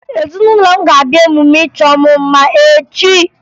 Ezinụlọ m ga-abịa emume ịchọ mụ mma echi